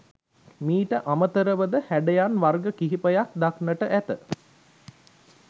මීට අමතරව ද හැඩයන් වර්ග කිහිපයක් දක්නට ඇත.